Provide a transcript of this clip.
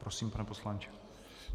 Prosím, pane poslanče.